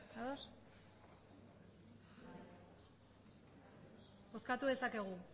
bozkatu dezakegu